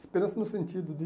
Esperança no sentido de